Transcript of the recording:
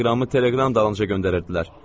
Teleqramı teleqram dalınca göndərirdilər.